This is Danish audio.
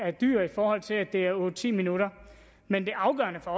er dyr i forhold til at det er otte ti minutter men det afgørende for